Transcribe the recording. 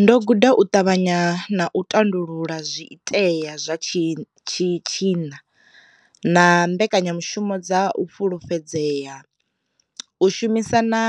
Ndo guda u ṱavhanya na u tandulula zwi itea zwa tshi tshi tshinna na mbekanyamushumo dza u fhulufhedzea, u shumisa na